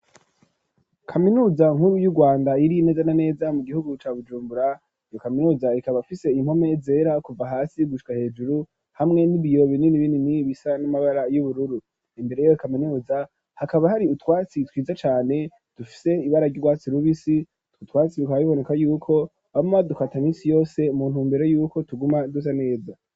kaminuza nkuru y'u Rwanda iri neza na neza mu gihugu ca Bujumbura iyo kaminuza ikaba afise impome zera kuva hasi gushika hejuru hamwe n'ibiyobo binini binini bisa n'amabara y'ubururu imbere yiyo kaminuza hakaba hari utwatsi twiza cane dufise ibara ry'urwatsi rubisi utwo twatsi ruka biboneka yuko bama badukata misi yose muntumbero yuko tuguma dusa neza.